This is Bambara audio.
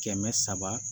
Kɛmɛ saba